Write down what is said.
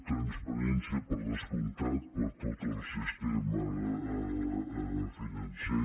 transparència per descomptat per a tot el sistema financer